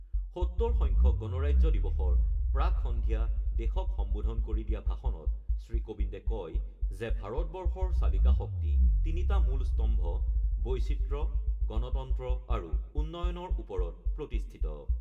৭০ সংখ্যক গণৰাজ্য দিৱসৰ প্ৰাক্-সন্ধিয়া দেশক সম্বোধন কৰি দিয়া ভাষণত শ্ৰীকোবিন্দে কয় যে ভাৰতবৰ্ষৰ চালিকা শক্তি তিনিটা মূল স্তম্ভ বৈচিত্ৰ্য, গণতন্ত্ৰ আৰু উন্নয়নৰ ওপৰত প্ৰতিষ্ঠিত।